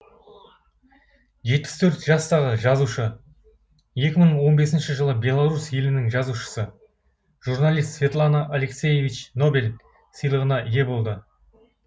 жетпіс төрт жастағы жазушы екі мың он бесінші жылы белорус елінің жазушысы журналист светлана алексиевич нобель сыйлығына ие болды